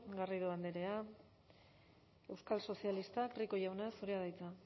garrido andrea euskal sozialistak rico jauna zurea da hitza